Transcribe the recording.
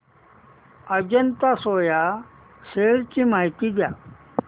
Ajanta Soya shares ची माहिती द्या